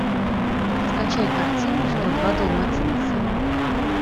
скачай картину сто два далматинца